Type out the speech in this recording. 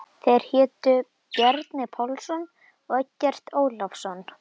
Þeir hétu Bjarni Pálsson og Eggert Ólafsson.